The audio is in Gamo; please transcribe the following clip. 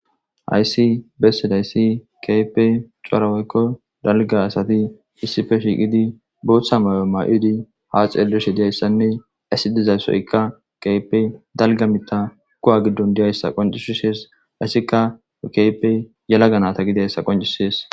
Hayssi bessedayssi kepe curawoykko dalga asati issife shiiqidi bootha mayo ma7udi ha cellesh diyayssanne aysi dizaysoyka keypey dalga mita kuwa giddon diyayssa qoncishisees hayssika keypey yalaganata gidayssa qoncisees.